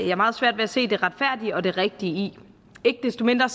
jeg meget svært ved at se det retfærdige og det rigtige i ikke desto mindre